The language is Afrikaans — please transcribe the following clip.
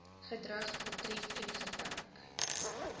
gedrag betref ingeperk